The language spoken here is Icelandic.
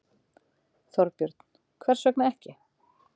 Þorbjörn: Hvers vegna ekki?